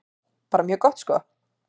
Bara mjög gott sko.